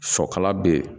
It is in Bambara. Sɔkala be ye